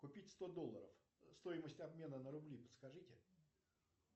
купить сто долларов стоимость обмена на рубли подскажите